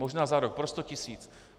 Možná za rok pro 100 tisíc.